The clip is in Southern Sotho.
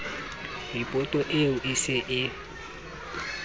ripoto eo e se e